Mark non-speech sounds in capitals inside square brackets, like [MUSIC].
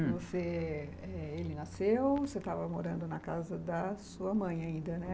[UNINTELLIGIBLE] Ele nasceu, você estava morando na casa da sua mãe ainda, né?